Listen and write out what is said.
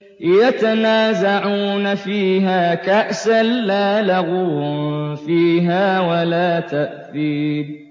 يَتَنَازَعُونَ فِيهَا كَأْسًا لَّا لَغْوٌ فِيهَا وَلَا تَأْثِيمٌ